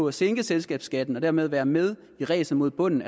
at sænke selskabsskatten og dermed være med i ræset mod bunden